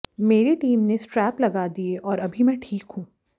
मेरी टीम ने स्ट्रेप लगा दिए और अभी मैं ठीक हूं